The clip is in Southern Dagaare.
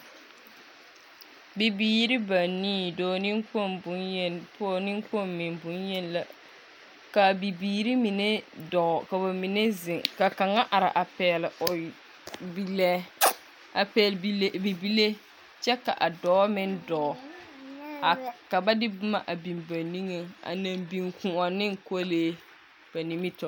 Bibiiri banii, dɔɔ neŋkpoŋ boŋyeni, pneŋkpoŋ meŋ boŋyeni la. Kaa bibiiri mine dɔɔ, kaa ba mine zeŋ, ka a kaŋa are a pɛgle o bilɛɛ a pɛgle bilɛɛ bibilee kyɛ ka a dɔɔ meŋ dɔɔ a ka ba de boma biŋ ba niŋe a naŋ biŋ Kõɔ ne kolee ba nimitɔɔreŋ.